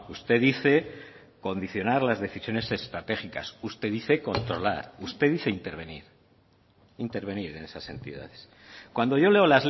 usted dice condicionar las decisiones estratégicas usted dice controlar usted dice intervenir intervenir en esas entidades cuando yo leo